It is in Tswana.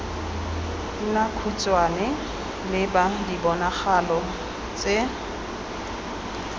nna khutshwane leba diponagalo tse